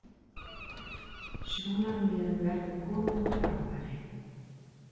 Sjónarmiðum verði komið á framfæri